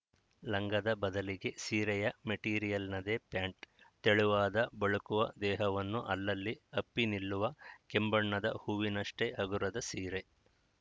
ಲಂಗದ ಬದಲಿಗೆ ಸೀರೆಯ ಮೆಟೀರಿಯಲ್‌ನದೇ ಪ್ಯಾಂಟ್‌ ತೆಳುವಾದ ಬಳುಕುವ ದೇಹವನ್ನು ಅಲ್ಲಲ್ಲಿ ಅಪ್ಪಿನಿಲ್ಲುವ ಕೆಂಬಣ್ಣದ ಹೂವಿನಷ್ಟೇ ಹಗುರದ ಸೀರೆ